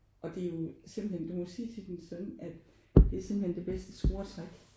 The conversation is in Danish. Og det jo simpelthen du må sige til din søn at det er simpelthen det bedste scoretrick